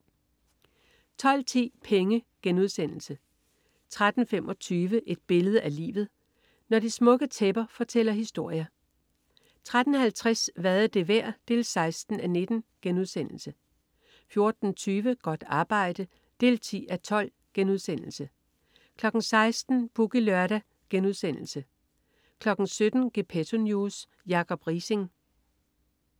12.10 Penge* 13.25 Et billede af livet. Når de smukke tæpper fortæller historier 13.50 Hvad er det værd? 16:19* 14.20 Godt arbejde 10:12* 16.00 Boogie Lørdag* 17.00 Gepetto News. Jacob Riising